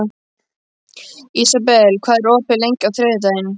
Ísabel, hvað er opið lengi á þriðjudaginn?